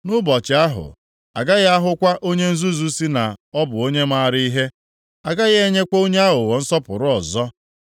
Nʼụbọchị ahụ, a gaghị ahụkwa onye nzuzu sị na ọ bụ onye maara ihe. A gaghị enyekwa onye aghụghọ nsọpụrụ ọzọ.